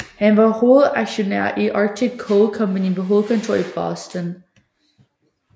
Han var hovedaktionær i Arctic Coal Company med hovedkontor i Boston